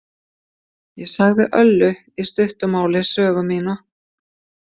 Ég sagði Öllu í stuttu máli sögu mína.